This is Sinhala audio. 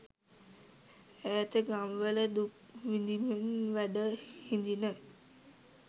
ඈත ගම්වල දුක් විදිමින් වැඩ හිදින